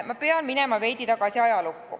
Ma pean minema veidi ajas tagasi.